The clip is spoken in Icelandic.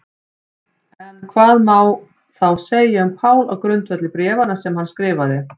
En hvað má þá segja um Pál á grundvelli bréfanna sem hann skrifaði?